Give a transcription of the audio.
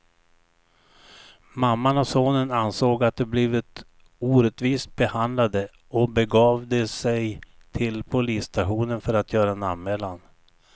Mamman och sonen ansåg att de blivit orättvist behandlade och begav de sig till polisstationen för att göra en anmälan.